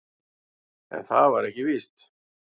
En það var ekki víst.